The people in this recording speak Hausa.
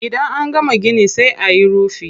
Idan an gama gini sai ayi rufi.